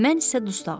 Mən isə dustağam.